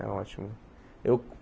É ótimo. Eu